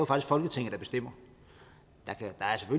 folketinget der bestemmer der